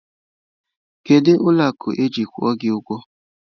Kedu ụlọ akụ ejiri kwụọ gị ụgwọ?